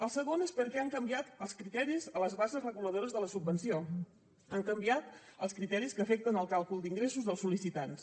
el segon és perquè han canviat els criteris a les bases reguladores de la subvenció han canviat els criteris que afecten el càlcul d’ingressos dels sol·licitants